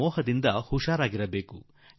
ಈ ಮೋಹದಿಂದ ನಾವು ಪಾರಾಗಬೇಕಾಗಿದೆ